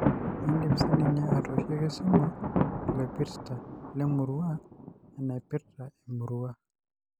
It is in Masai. indim sininye atooshoki esimu iloipirta lemurua enaipirta emorua